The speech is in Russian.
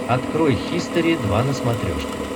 открой хистори два на смотрешке